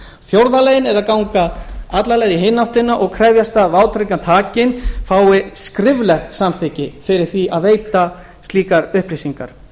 fjórða leiðin er að ganga alla leið í hina áttina og krefjast þess að vátryggingartakinn fái skriflegt samþykki fyrir því að veita slíkar upplýsingar